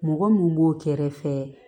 Mɔgɔ mun b'o kɛrɛfɛ